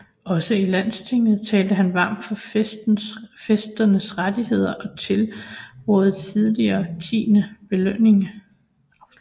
Også i Landstinget talte han varmt for fæsternes rettigheder og tilraadede tillige tiendens afløsning